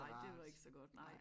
Ej det var ikke så godt nej